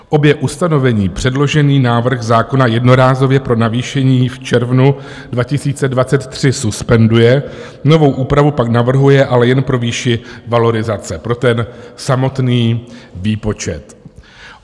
Obě ustanovení předložený návrh zákona jednorázově pro navýšení v červnu 2023 suspenduje, novou úpravu pak navrhuje, ale jen pro výši valorizace, pro ten samotný výpočet.